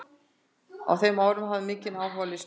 Á þeim árum hafði hann mikinn áhuga á listum.